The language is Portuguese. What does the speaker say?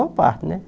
parte né